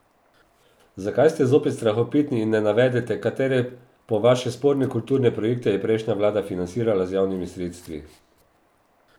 Zakaj ste zopet strahopetni in ne navedete, katere po vaše sporne kulturne projekte je prejšnja vlada financirala z javnimi sredstvi?